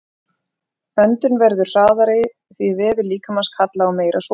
Öndun verður hraðari því vefir líkamans kalla á meira súrefni.